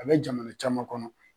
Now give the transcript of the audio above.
A bɛ jamana caman kɔnɔ.